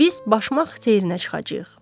Biz Başmaq çeynə çıxacağıq.